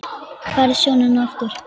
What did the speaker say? Færð sjónina aftur.